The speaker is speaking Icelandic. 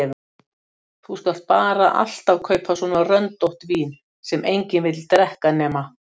Þú skalt bara alltaf kaupa svona röndótt vín sem enginn vill drekka nema